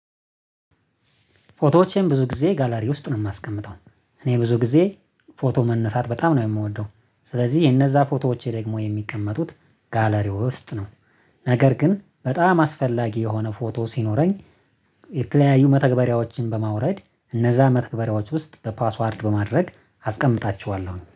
ፎቶዎቼን ብዙ ጊዜ ጋላሪ ውስጥ ነው የማስቀምጠው። እኔ ብዙ ጊዜ ፎቶ መነሳት በጣም ነው የምወደው። ስለዚህ የእነዚያ ፎቶዎቼ ደግሞ የሚቀመጡት ጋለሪ ውስጥ ነው። ነገር ግን በጣም አስፈላጊ የሆነ ፎቶ ሲኖረኝ። የተከለያዩ መተግበሪያዎችን በማውረድ እነዚያ መተግበሪያዎች ውስጥ በፓስዋርድ በማድረግ አስቀምጣቸኋለሁ